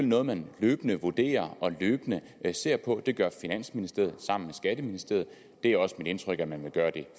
noget man løbende vurderer og løbende ser på det gør finansministeriet sammen med skatteministeriet det er også mit indtryk at man vil gøre det